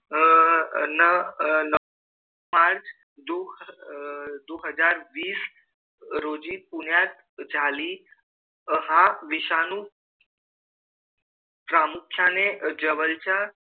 अह ना पाच दु दो हजार वीस रोजी पुण्यात झाली. हा विषाणू प्रामुख्याने जवळच्या,